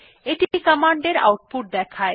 এটি কমান্ড এর আউটপুট দেখায়